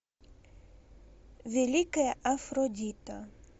великая афродита